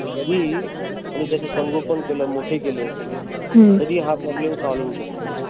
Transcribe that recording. तरी आणि त्याच संगोपन केलं मोठे केले तरी हा problem solve होवू शकतो.